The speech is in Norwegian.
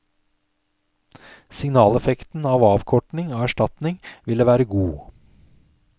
Signaleffekten av avkortning av erstatning ville være god.